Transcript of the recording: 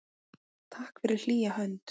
Takk fyrir hlýja hönd.